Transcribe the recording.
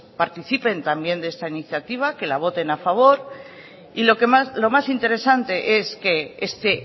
pues participen también de esta iniciativa que la voten a favor y lo más interesante es que este